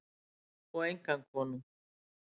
Og engan konung.